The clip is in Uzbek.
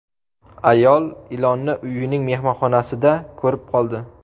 Ayol ilonni uyining mehmonxonasida ko‘rib qoldi.